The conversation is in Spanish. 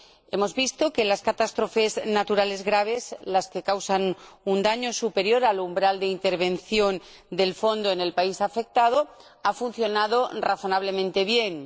Hemos visto que en las catástrofes naturales graves, las que causan un daño superior al umbral de intervención del Fondo en el país afectado, ha funcionado razonablemente bien.